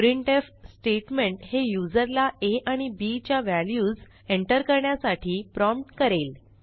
printf statement हे युजरला आ आणि बी च्या व्हॅल्यूज एंटर करण्यासाठी प्रॉम्प्ट करेल